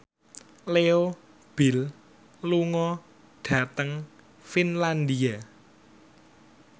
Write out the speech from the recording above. Leo Bill lunga dhateng Finlandia